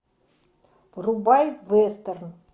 врубай вестерн